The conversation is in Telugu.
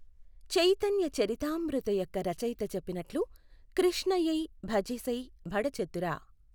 చైతన్య చరితామృత యొక్క రచయిత చెప్పినట్లు కృష్ణ యేయ్ భజె సెయ్ బఢ చతుర.